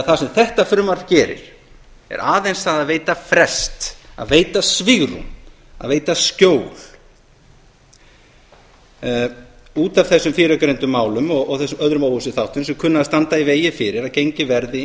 það sem þetta frumvarp því gerir er aðeins það að veita frest að veita svigrúm að veita skjól út af þessum fyrrgreindu málum og öðrum óvissuþátta sem kunna að standa í vegi fyrir að gengið verði